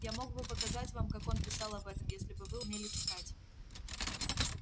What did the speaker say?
я мог бы показать вам как он писал об этом если бы вы умели читать